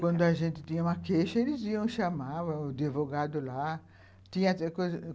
Quando a gente tinha uma queixa, eles iam e chamavam o advogado lá. Tinha